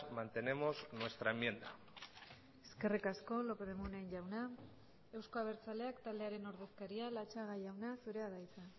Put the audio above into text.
mantenemos nuestra enmienda eskerrik asko lópez de munain jauna euzko abertzaleak taldearen ordezkaria latxaga jauna zurea da hitza